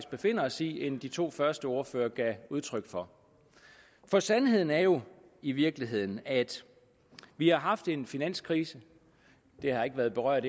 befinder os i end de to første ordførere gav udtryk for for sandheden er jo i virkeligheden at vi har haft en finanskrise det har ikke været berørt